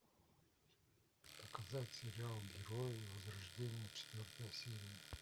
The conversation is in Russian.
показать сериал герои возрождение четвертая серия